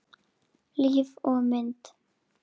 Líf og mynd